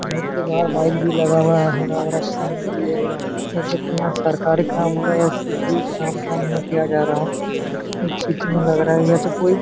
घर के बहार बाइक भी लगा हुआ है हरा भरा सीन भी है जैसे यहाँ कोई सरकारी काम हो रहा है या कुछ भी काम धाम यहाँ किया जा रहा है या तो कोई --